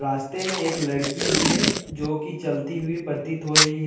रास्ते में एक लड़की भी है जो कि चलती हुई प्रतीत हो रही है।